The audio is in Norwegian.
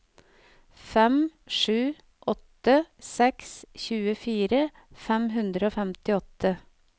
fem sju åtte seks tjuefire fem hundre og femtiåtte